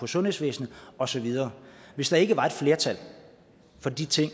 sundhedsvæsenet og så videre hvis der ikke var et flertal for de ting